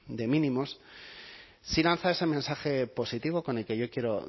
de mínimos sí lanza ese mensaje positivo con el que yo quiero